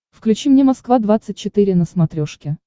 включи мне москва двадцать четыре на смотрешке